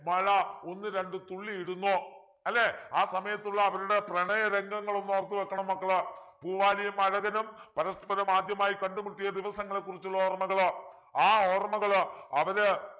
മഴ ഒന്ന് രണ്ടു തുള്ളി ഇടുന്നു അല്ലെ ആ സമയത്തുള്ള അവരുടെ പ്രണയരംഗങ്ങൾ ഒന്ന് ഓർത്തു വെക്കണം മക്കള് പൂവാലിയും അഴകനും പരസ്പരം ആദ്യമായി കണ്ടുമുട്ടിയ ദിവസങ്ങളെക്കുറിച്ചുള്ള ഓർമ്മകൾ ആ ഓർമ്മകളു അവര്